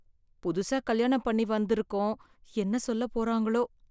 புதுசா கல்யாணம் பண்ணி வந்து இருக்கோம், என்ன சொல்ல போறாங்களோ.